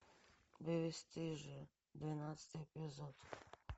бесстыжие двенадцатый эпизод